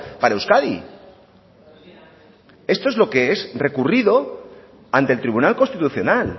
para euskadi esto es lo que es recurrido ante el tribunal constitucional